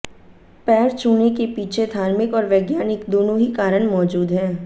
पैर छुने के पीछे धार्मिक और वैज्ञानिक दोनों ही कारण मौजूद हैं